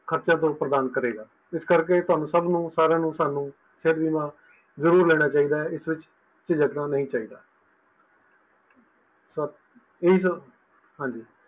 ਖਰਚਾ ਪ੍ਰਦਾਨ ਕਰੇਗਾ ਇਸ ਕਰਕੇ ਤੁਹਾਨੂੰ ਸਬ ਨੂੰ ਸਾਰਿਆਂ ਨੂੰ ਸਬ ਨੂੰ ਸਿਹਤ ਬੀਮਾ ਜ਼ਰੂਰ ਲੈਣਾ ਚਾਹੀਦਾ ਹੈ ਇਸ ਵਿੱਚ ਝਿਜਕਣਾ ਨਹੀਂ ਚਾਹੀਦਾ ਸਤ ਜੀ ਇਹੀ ਸਬ ਹਾਂਜੀ